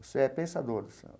Você é pensador do samba.